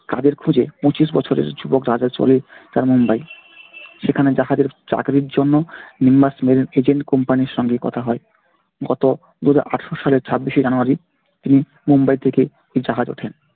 কাজের খোঁজে পঁচিশ বছরের যুবক রাজা চলে তার মুম্বাই। সেখানে জাহাজের চাকরির জন্য nimbus marine agent company এর সঙ্গে কথা হয়। গত দুহাজার আঠেরো সালের ছাব্বিশে january তিনি মুম্বাই থেকে জাহাজে ওঠেন।